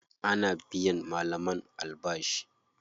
Ana biyan malaman albashi.